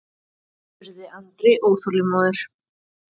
spurði Andri óþolinmóður.